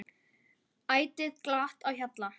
Ætíð glatt á hjalla.